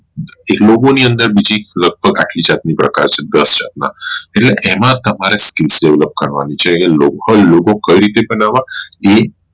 એક logo ની અંદર બીજી લાગભાં પરક્ષિત એમાં તમારે skill Develop કરવાની છે તો આ logo logo કઈ રીતે બનાવવા એ